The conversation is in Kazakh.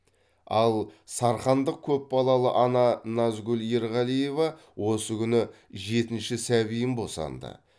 ал сарқандық көпбалалы ана назгүл ерғалива осы күні жетінші сәбиін босанды